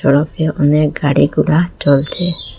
রকে অনেক গাড়ি গোড়া চলছে।